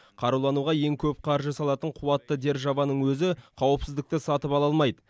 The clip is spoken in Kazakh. қарулануға ең көп қаржы салатын қуатты державаның өзі қауіпсіздікті сатып ала алмайды